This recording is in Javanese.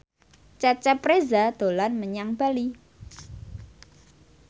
Cecep Reza dolan menyang Bali